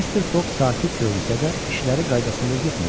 Mr. Foq sakit görünsə də, işləri qaydasında getmirdi.